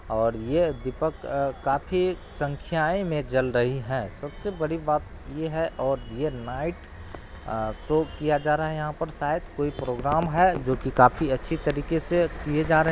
और यह दीपक अ काफ़ी संख्याये में जल रही हैं । सबसे बड़ी बात ये है और ये नाइट अ शो किया जा रहा है यहाँ पर शायद कोई प्रोग्राम है जोकि काफ़ी अच्छी तरीके से किए जा रहे --